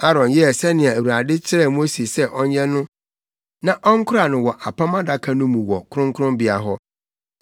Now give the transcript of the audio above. Aaron yɛɛ sɛnea Awurade kyerɛɛ Mose sɛ ɔnyɛ no na ɔnkora no wɔ Apam Adaka no mu wɔ kronkronbea hɔ.